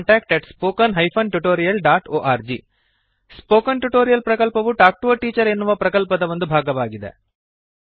contactat spoken hyphen tutorial dot org spoken tutorial ಪ್ರಕಲ್ಪವು talk to a teacher ಎನ್ನುವ ಪ್ರಕಲ್ಪದ ಒಂದು ಭಾಗವಾಗಿದೆ